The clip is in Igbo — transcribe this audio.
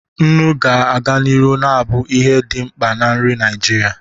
Nnu ga-aga n'ihu na-abụ ihe dị mkpa na nri Naijiria.